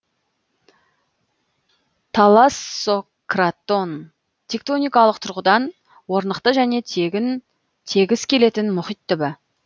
талассократон тектоникалық тұрғыдан орнықты және тегіс келетін мұхит түбі